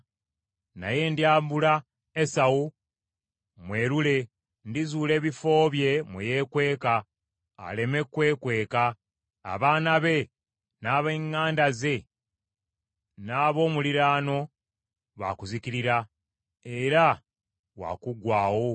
Naye ndyambula Esawu mwerule; ndizuula ebifo bye mwe yeekweka, aleme kwekweka. Abaana be, n’ab’eŋŋanda ze n’ab’omuliraano baakuzikirira, era wa kuggwaawo.